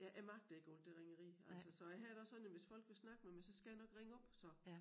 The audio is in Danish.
Ja jeg magter ikke alt det ringeri altså så jeg har det også sådan at hvis folk vil snakke med mig så skal jeg nok ringe op så